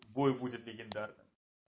бой будет легендарным